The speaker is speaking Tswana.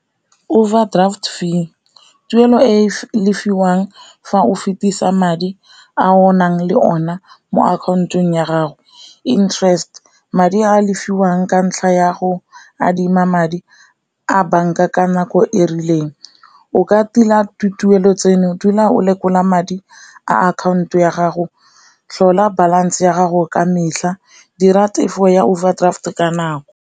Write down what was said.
Overdraft fee, tuelo e le fiwang fa o fetisa madi a o nang le one mo akhaontong ya gago, interest madi a lefiwang ka ntlha ya go adima madi a banka ka nako e rileng. O ka tila tuelo tseno dula o lekola madi a akhaonto ya gago, tlhola balance ya gago ka metlha, di ra tefo ya overdraft ka nako.